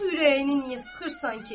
Bəs ürəyini niyə sıxırsan ki?